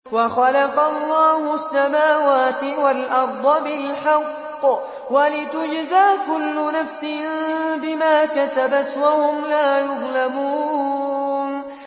وَخَلَقَ اللَّهُ السَّمَاوَاتِ وَالْأَرْضَ بِالْحَقِّ وَلِتُجْزَىٰ كُلُّ نَفْسٍ بِمَا كَسَبَتْ وَهُمْ لَا يُظْلَمُونَ